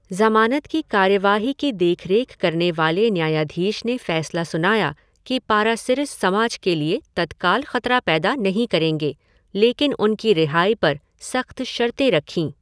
ज़मानत की कार्यवाही की देखरेख करने वाले न्यायाधीश ने फ़ैसला सुनाया कि पारासिरिस समाज के लिए तत्काल ख़तरा पैदा नहीं करेंगे, लेकिन उनकी रिहाई पर सख़्त शर्तें रखीं।